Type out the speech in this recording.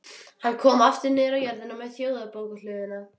Hann kom aftur niður á jörðina við Þjóðarbókhlöðuna.